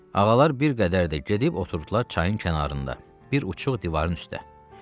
Ağalar bir qədər də gedib oturdular çayın kənarında, bir uçux divarın üstə.